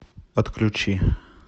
отключи